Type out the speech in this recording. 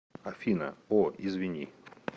афина о извини